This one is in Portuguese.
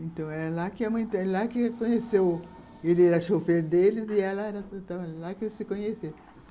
Então, era lá que a mãe... Era lá que ele conheceu... Ele era chofer deles e ela era... Então, era lá que eles se conheceram.